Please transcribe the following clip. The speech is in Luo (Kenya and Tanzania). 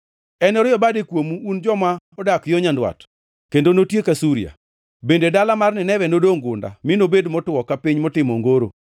Enorie bade kuomu un joma odak yo nyandwat, kendo notiek Asuria, bende dala mar Nineve nodongʼ gunda mi nobed motwo ka piny motimo ongoro.